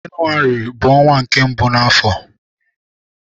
Jenụwarị bu ọnwa mbụ n'afọ.